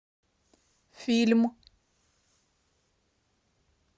фильм